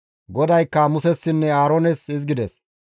GODAYKKA Musessinne Aaroones hizgides,